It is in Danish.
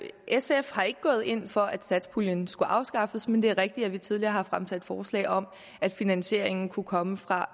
sf har ikke gået ind for at satspuljen skulle afskaffes men det er rigtigt at vi tidligere har fremsat et forslag om at finansieringen kunne komme fra